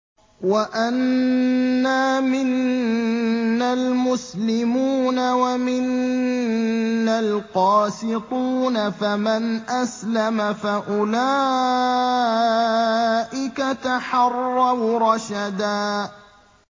وَأَنَّا مِنَّا الْمُسْلِمُونَ وَمِنَّا الْقَاسِطُونَ ۖ فَمَنْ أَسْلَمَ فَأُولَٰئِكَ تَحَرَّوْا رَشَدًا